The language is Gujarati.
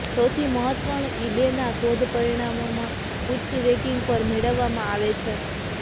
સૌથી મહત્વપૂર્ણ ઇબેના શોધ પરિણામોમાં ઉચ્ચ રેકિંગ પર મેળવવામાં આવે છે